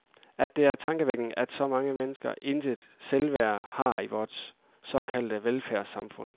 At det er tankevækkende, at så mange mennesker intet selvværd har i vort såkaldte velfærdssamfund.